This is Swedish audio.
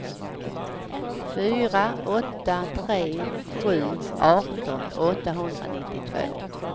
fyra åtta tre sju arton åttahundranittiotvå